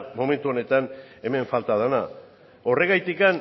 momentu honetan hemen falta dena horregatik